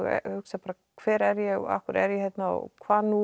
hugsar bara hver er ég og af hverju er ég hérna og hvað nú